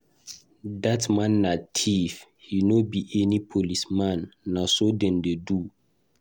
Dat man na thief, he no be any policeman. Na so dem dey do?